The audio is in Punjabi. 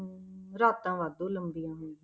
ਹਮ ਰਾਤਾਂ ਵਾਧੂ ਲੰਬੀਆਂ ਹੁੰਦੀਆਂ।